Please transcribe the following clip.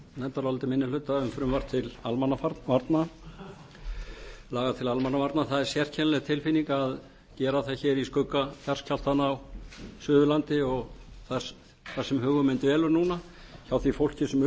nefndaráliti minni hluta um frumvarp til almannavarna laga til almannavarna það er sérkennileg tilfinning að gera það hér í skugga jarðskjálftanna á suðurlandi og þar sem hugur minn dvelur núna hjá því fólki sem